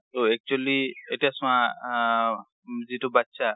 ট actually এতিয়া চোৱা আ যিটো বাচ্চা